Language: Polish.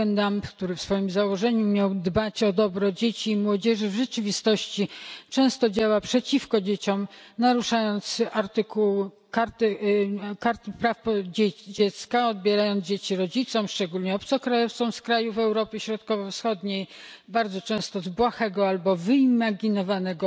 Jugendamt, który w swoim założeniu miał dbać o dobro dzieci i młodzieży, w rzeczywistości często działa przeciwko dzieciom, naruszając artykuły karty praw dziecka, odbierając dzieci rodzicom szczególnie obcokrajowcom z krajów Europy Środkowo Wschodniej bardzo często z błahego albo wyimaginowanego